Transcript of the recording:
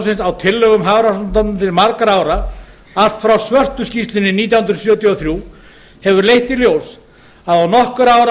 flokksins á tillögum hafró til margra ára allt frá svörtu skýrslunni nítján hundruð sjötíu og þrjú hefur leitt í ljós að á nokkurra ára